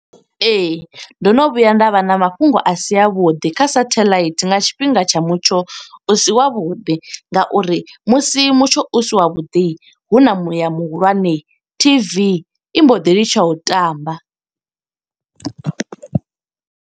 Ee, ndo no vhuya nda vha na mafhungo a si a vhuḓi, kha sathelaithi nga tshifhinga tsha mutsho u si wavhuḓi. Nga uri musi mutsho u si wa vhuḓi, huna muya muhulwane. T_V i mbo ḓi litsha u tamba.